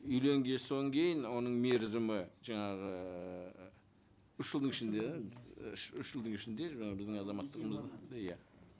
үйленген соң кейін оның мерзімі жаңағы ііі үш жылдың ішінде і үш жылдың ішінде жаңа біздің азаматтығымызды иә